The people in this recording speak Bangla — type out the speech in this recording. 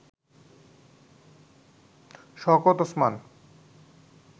শওকত ওসমান